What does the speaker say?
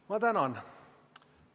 Ma tänan!